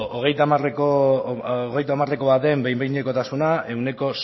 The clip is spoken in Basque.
hogeita hamareko baten behin behinekotasuna ehuneko